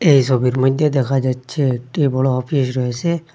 এই সবির মইদ্যে দেখা যাচ্ছে একটি বড় অফিস রয়েসে।